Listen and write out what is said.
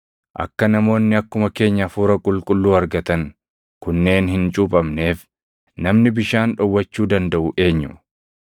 “Akka namoonni akkuma keenya Hafuura Qulqulluu argatan kunneen hin cuuphamneef namni bishaan dhowwachuu dandaʼu eenyu?”